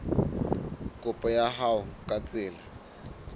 kopo ya hao ka tsela